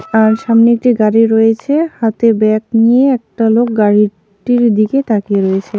আর সামনে একটি গাড়ি রয়েছে হাতে ব্যাগ নিয়ে একটা লোক গাড়িটির দিকে তাকিয়ে রয়েছে .